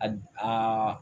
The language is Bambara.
A aa